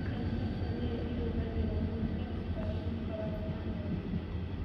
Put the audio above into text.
M-PESA nĩ yo ĩhũthagĩrũo mũno nĩ andũ arĩa makoragwo na mawĩra.